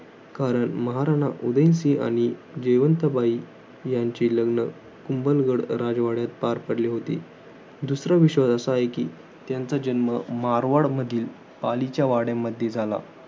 कारण महाराणा उदय सिंह आणि जयवंथ बाई यांचे लग्न कुंभलगड राजवाड्यात पार पडले होते. दुसरा विश्वास असा आहे कि, त्यांचा जन्म मारवाड मधील, पालीच्या वाड्यामध्ये झाला.